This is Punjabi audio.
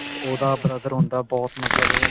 ਉਹਦਾ brother ਹੁੰਦਾ ਬਹੁਤ ਮਤਲਬ